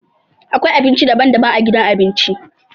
Akwai abinci daban-daban a gidan abinci.